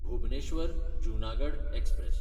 भुबनेश्वर–जुनागड express